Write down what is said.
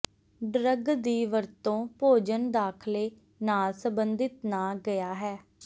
drug ਦੀ ਵਰਤੋ ਭੋਜਨ ਦਾਖਲੇ ਨਾਲ ਸਬੰਧਿਤ ਨਾ ਗਿਆ ਹੈ